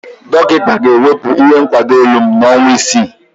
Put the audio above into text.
Dọkịta ga-ewepụ ihe nkwado olu m n'ọnwa isii.